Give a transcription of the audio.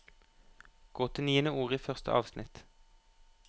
Gå til niende ord i første avsnitt